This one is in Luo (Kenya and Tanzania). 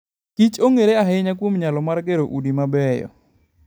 kichong'ere ahinya kuom nyalo mar gero udi mabeyo.